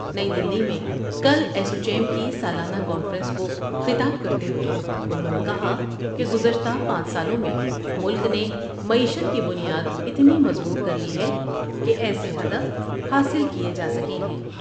نئی دلی میں کل ایسووچیم کی سالانہ کانفرنس کو خطاب کرتے ہوۓ انہوں نے کہا کہ گذشتہ پانچ سالوں میں ملک نے معیشت کی بنیاد اتنی مضبوط کر لی ہے کہ ایسے ہدف حاصل کئے جا سکتے ہیں ۔